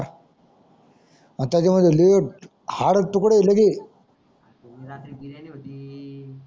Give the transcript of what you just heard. तुम्ही रात्री बिर्याणी होती.